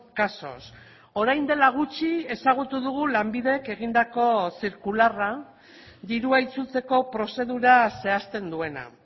casos orain dela gutxi ezagutu dugu lanbidek egindako zirkularra dirua itzultzeko prozedura zehazten duena